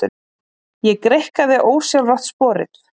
Ég greikkaði ósjálfrátt sporið.